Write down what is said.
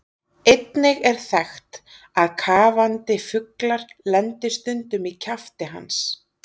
Einnig er þekkt að kafandi fuglar lendi stundum í kjafti hans.